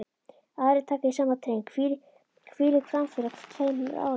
Aðrir taka í sama streng: Hvílík framför á tveimur árum.